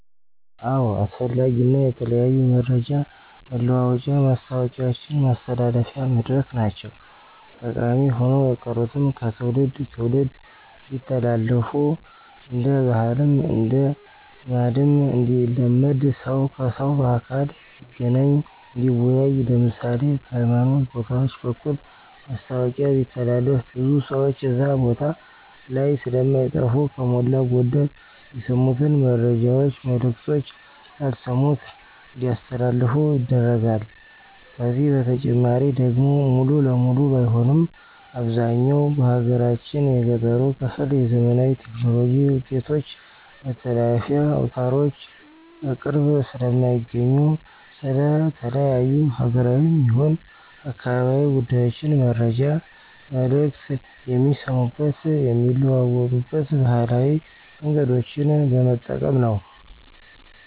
አዎ አስፈላጊ እና የተለያዩ መረጃ መለዋወጫ ማስታወቂያውችን ማስተላለፊያ መድረክ ናቸው። ጠቀሚ ሆነው የቀሩትም ከትውልድ ትውልድ እንዲተላለፍ እንደ ባህልም እንደ ልማድም እንዲለመድ ሰው ከሰው በአካል እንዲገናኝ እንዲወያይ ለምሳሌ፦ በሀይማኖት ቦታውች በኩል ማስታወቂያ ቢተላለፍ ብዙ ሰውች እዛ ቦታ ላይ ስለማይጠፉ ከሞላ ጎደል የሰሙትን መረጃውች መልክቶች ላልሰሙት እንዲያስተላልፉ ይደረጋል። ከዚህ በተጨማሪ ደግሞ ሙሉ ለሙሉ ባይሆንም አብዛኛው በሀገራችን የገጠሩ ክፍል የዘመናዊ ቴክኖሎጂ ውጤቶች መተላለፊያ አውታሮች በቅርብ ስለማያገኙ ስለ ተለያዩ ሀገራዊም ይሁን አካባቢያዊ ጉዳዮችን መረጃ መልክት የሚሰሙበት የሚለዋወጡበት ባህላዊ መንገዶችን በመጠቀም ነው።